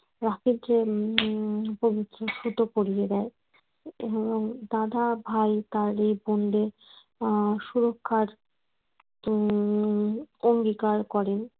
রাখির যে উম পবিত্র সুতো পরিয়ে দেয় এবং দাদা ভাই তার এই বোনদের আহ সুরক্ষার উম অঙ্গীকার করেন